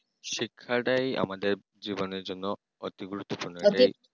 শিক্ষাটাই আমাদের জীবনের জন্য অতি গুরুত্বপূর্ণ